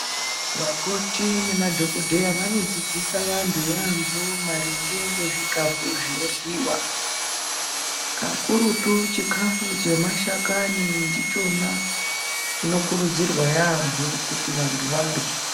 Vakoti namadhokodheya vanodzidzisa vantu yambo maringe ngezvikafu zvinoryiwa, kakurutu chikafu chemashakani ndichona chinokurudzirwa yambo kuti vantu varye.